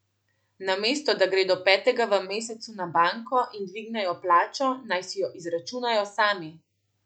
Namesto da gredo petega v mesecu na banko in dvignejo plačo, naj si jo izračunajo sami.